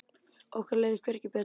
Okkur leið hvergi betur.